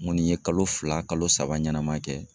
N kɔni ye kalo fila kalo saba ɲɛnama kɛ